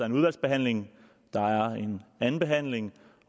en udvalgsbehandling der er en andenbehandling